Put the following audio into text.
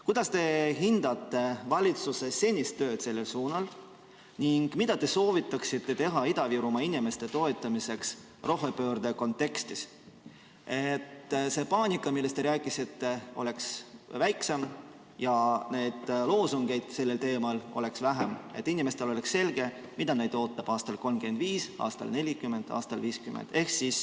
Kuidas te hindate valitsuse senist tööd sellel suunal ning mida te soovitaksite teha Ida-Virumaa inimeste toetamiseks rohepöörde kontekstis, et see paanika, millest te rääkisite, oleks väiksem ja neid loosungeid sellel teemal oleks vähem, et inimestel oleks selge, mis neid ootab aastal 2035, aastal 2040 või aastal 2050?